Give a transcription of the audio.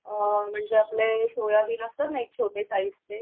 म्हणजे आपले सोयाबीन असतात ना एक छोटे साईजचे